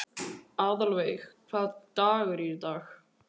Aðalveig, hvaða dagur er í dag?